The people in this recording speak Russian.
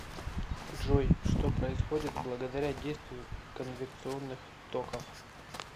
джой что происходит благодаря действию конвекционных токов